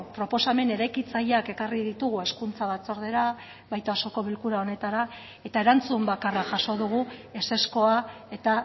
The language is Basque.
proposamen eraikitzaileak ekarri ditugu hezkuntza batzordera baita osoko bilkura honetara eta erantzun bakarra jaso dugu ezezkoa eta